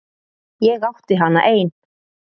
Ég átti hana ein.